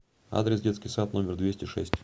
адрес детский сад номер двести шесть